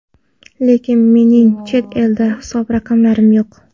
Lekin, mening chet elda hisob raqamlarim yo‘q.